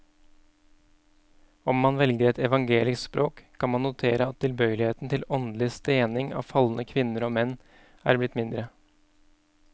Om man velger et evangelisk språk, kan man notere at tilbøyeligheten til åndelig stening av falne kvinner og menn er blitt mindre.